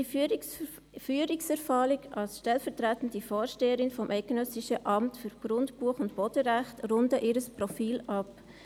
Ihre Führungserfahrung als stellvertretende Vorsteherin des Eidgenössischen Amts für Grundbuch- und Bodenrecht rundet ihr Profil ab.